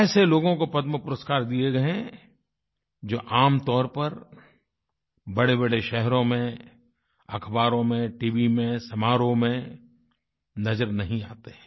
ऐसे लोगों को पद्मपुरस्कार दिए गए हैं जो आमतौर पर बड़ेबड़े शहरों में अख़बारों में टीवी में समारोह में नज़र नहीं आते हैं